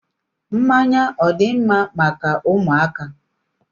Mmanya ọ dị mma maka ụmụaka?